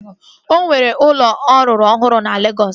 Ọ nwere ụlọ ọ rụrụ ọhụrụ na Legọs